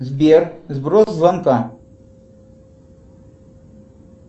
сбер сброс звонка